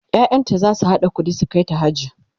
ƴaƴanta zasu haɗa ƙuɗi su kaita haji